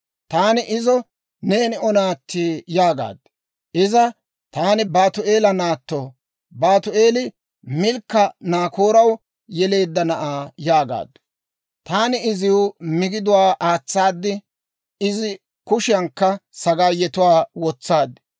«Taani izo, ‹Neeni O naatti?› yaagaad. «Iza, ‹Taani Baatu'eela naatto; Baatu'eeli, Milkka Naakooraw yeleedda na'aa› yaagaaddu. «Taani iziw migiduwaa aatsaad; izi kushiyaankka sagaayetuwaa wotsaad.